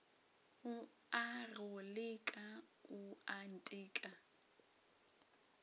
o a go leka oanteka